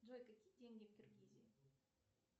джой какие деньги в киргизии